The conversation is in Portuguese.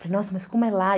Falei, nossa, mas como é lá?